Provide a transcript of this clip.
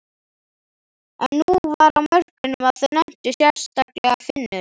En nú var á mörkunum að þau nenntu, sérstaklega Finnur.